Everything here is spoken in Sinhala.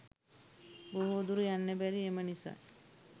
බොහෝ දුර යන්න බැරි එම නිසයි